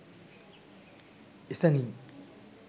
එ සැණිනි.